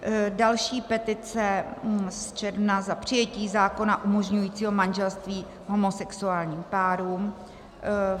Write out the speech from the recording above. Další petice z června za přijetí zákona umožňujícího manželství homosexuálním párům.